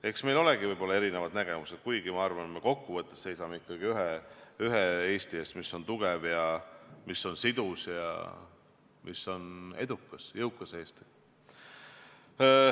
Eks meil olegi võib-olla erinevad nägemused, kuigi ma arvan, et kokku võttes me seisame ikkagi ühe Eesti eest, mis on tugev ning mis on sidus, edukas ja jõukas Eesti.